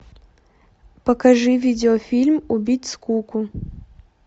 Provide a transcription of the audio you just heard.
покажи видеофильм убить скуку